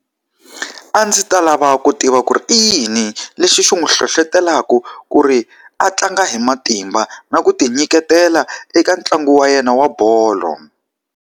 A ndzi ta lava ku tiva ku ri i yini lexi xi n'wi hlohletelaka ku ri a tlanga hi matimba na ku ti nyiketela eka ntlangu wa yena wa bolo?